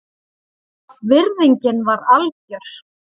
Virðingin var algjör